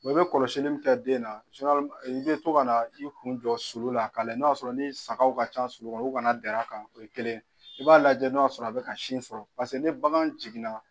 Wa i bɛ kɔlɔsili min kɛ den na i bɛ to ka na i kun jɔ sulu la k'a layɛ n'a y'a sɔrɔ ni sagaw ka ca sulu kɔnɔ o kana dɛrɛ a kan o ye kelen ye i b'a lajɛ n'a y'a sɔrɔ a bɛ ka sin sɔrɔ paseke ni bagan jiginna